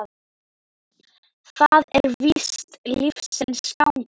Það er víst lífsins gangur.